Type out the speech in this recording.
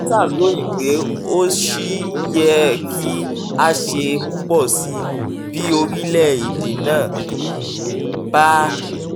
reuters ròyìn pé ó ṣì yẹ kí a ṣe púpọ̀ sí i bí orílẹ̀-èdè náà bá